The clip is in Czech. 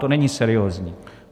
To není seriózní.